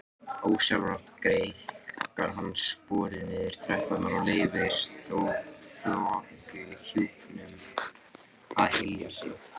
Ósjálfrátt greikkar hann sporið niður tröppurnar og leyfir þokuhjúpnum að hylja sig.